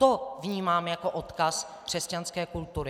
To vnímám jako odkaz křesťanské kultury.